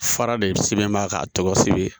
Fara de sɛbɛn b'a ka tɔgɔ sɛbɛn